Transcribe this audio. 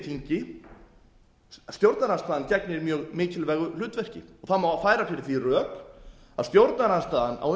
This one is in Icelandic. í þingi stjórnarandstaðan gegnir mjög mikilvægu hlutverki og það má færa fyrir því rök að stjórnarandstaðan á